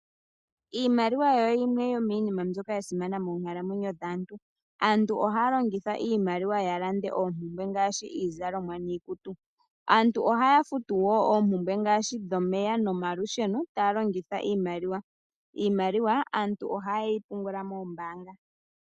Iimaliwa oyo yimwe yomiinima mbyoka ya simana monkalamwenyo dhaantu. Aantu ohaya longitha iimaliwa ya lande oompumbwe ngaashi iizalomwa niikutu . Aantu ohaya futu wo oompumbwe ngaashi dhomeya nomalusheno taya longitha iimaliwa. Iimaliwa aantu ohaye yi pungula moombaanga.